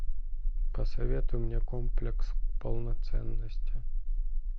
посоветуй мне комплекс полноценности